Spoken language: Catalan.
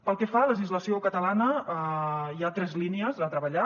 pel que fa a legislació catalana hi ha tres línies a treballar